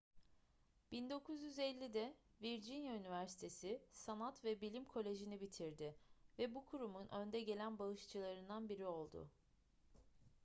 1950'de virginia üniversitesi sanat ve bilim koleji'ni bitirdi ve bu kurumun önde gelen bağışçılarından biri oldu